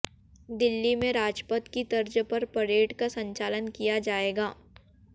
िदल्ली में राजपथ की तर्ज पर परेड का संचलन िकया जाएगा